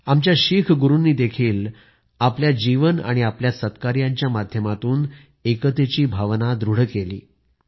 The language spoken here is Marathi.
आमच्या शीख गुरूंनी देखील आपल्या जीवन आणि आपल्या सत्कार्यांच्या माध्यमातून एकतेची भावना दृढ केली